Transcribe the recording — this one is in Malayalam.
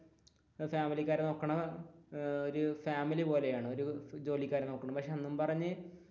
ഫാമിലിക്കാർ നോക്കുന്നത് ഒരു ഫാമിലി പോലെയാണ് ജോലിക്കാരെ നോക്കുന്നത് അന്നും പറഞ്ഞു,